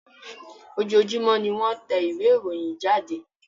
Ojoojúmọ́ ni wọ́n tẹ ìwé ìròyìn jáde.